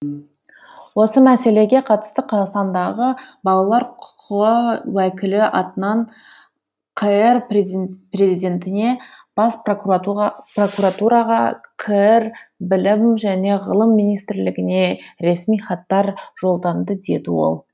осы мәселеге қатысты қазақстандағы балалар құқығы уәкілі атынан қр президентіне бас прокуратураға қр білім және ғылым министрлігіне ресми хаттар жолданды деді ол